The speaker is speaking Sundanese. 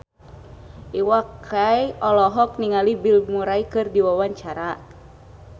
Iwa K olohok ningali Bill Murray keur diwawancara